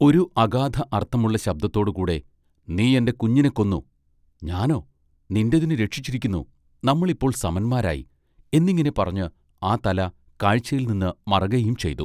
ഒരു അഗാധ അർത്ഥമുള്ള ശബ്ദത്തോടു കൂടെ നീ എന്റെ കുഞ്ഞിനെ കൊന്നു ഞാനൊ നിന്റതിനെ രക്ഷിച്ചിരിക്കുന്നു നമ്മൾ ഇപ്പോൾ സമന്മാരായി" എന്നിങ്ങനെ പറഞ്ഞ് ആ തല കാഴ്ചയിൽനിന്ന് മറകയും ചെയ്തു.